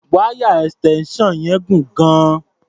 Wáyà extension yẹn gùn gan-an.